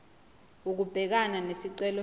ukubhekana nesicelo senu